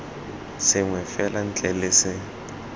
sengwe fela ntle le se